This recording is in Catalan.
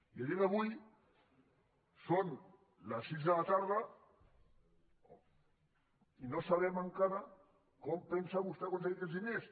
i a dia d’avui són les sis de la tarda i no sabem encara com pensa vostè aconseguir aquests diners